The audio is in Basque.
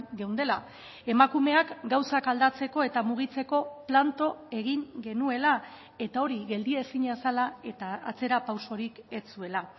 geundela emakumeak gauzak aldatzeko eta mugitzeko planto egin genuela eta hori geldi ezina zela eta atzera pausorik ez zuela